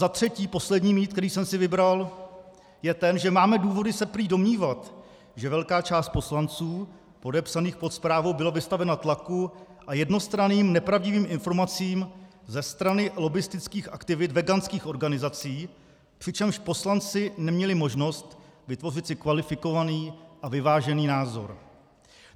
Za třetí: Poslední mýtus, který jsem si vybral, je ten, že máme důvody se prý domnívat, že velká část poslanců podepsaných pod zprávou byla vystavena tlaku a jednostranným nepravdivým informacím ze strany lobbistických aktivit veganských organizací, přičemž poslanci neměli možnost vytvořit si kvalifikovaný a vyvážený názor.